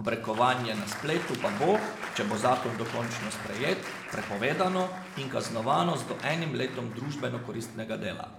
obrekovanje na spletu pa bo, če bo zakon dokončno sprejet, prepovedano in kaznovano z do enim letom družbeno koristnega dela.